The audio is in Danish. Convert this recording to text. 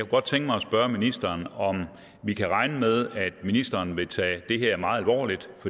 godt tænke mig at spørge ministeren om vi kan regne med at ministeren vil tage det her meget alvorligt